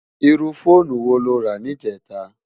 Irú fónú wó ló rá nijètá?